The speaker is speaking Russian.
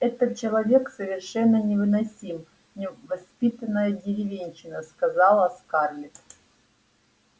этот человек совершенно невыносим невоспитанная деревенщина сказала скарлетт